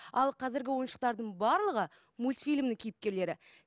ал қазіргі ойыншықтардың барлығы мульфильмнің кейіпкерлері